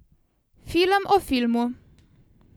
Film o filmu.